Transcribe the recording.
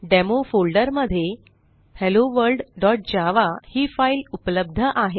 demo folder फोल्डरमध्ये helloworldजावा ही फाईल उपलब्ध आहे